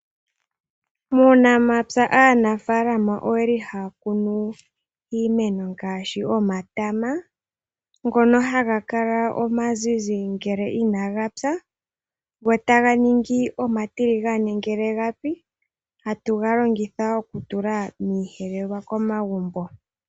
Muunamapya aanafaalama oyeli haya kunu iimeno ngaashi omatama ngono haga kala omazizi ngele inagapya go taga ningi omatiligane ngele gapi. Ohatu ga longitha okutula miiyelelwa komagumbo.